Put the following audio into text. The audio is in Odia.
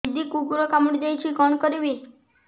ଦିଦି କୁକୁର କାମୁଡି ଦେଇଛି କଣ କରିବି